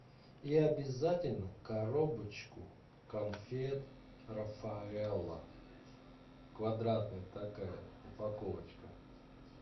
и обязательно коробочку конфет рафаэлло квадратная такая упаковочка